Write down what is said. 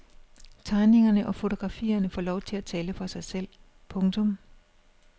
Tegningerne og fotografierne får lov at tale for sig selv. punktum